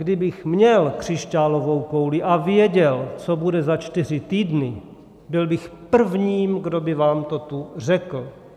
Kdybych měl křišťálovou kouli a věděl, co bude za čtyři týdny, byl bych prvním, kdo by vám to tu řekl.